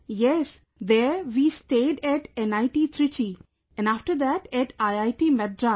Yes there we stayed at NIT Trichy, after that at IIT Madras